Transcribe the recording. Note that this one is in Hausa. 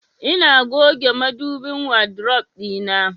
Ina goge madubin wadrof ɗina.